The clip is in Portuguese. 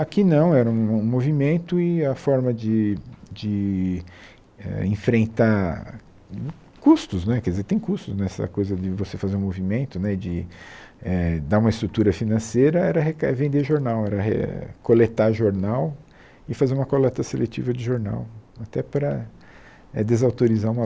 Aqui não, era um movimento e a forma de de éh enfrentar custos né quer dizer, tem custos nessa coisa de você fazer um movimento né, de eh dar uma estrutura financeira, era reca vender jornal, era coletar jornal e fazer uma coleta seletiva de jornal, até para desautorizar o